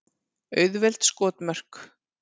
Auðveld skotmörk.